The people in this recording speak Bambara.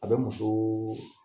A bɛ muso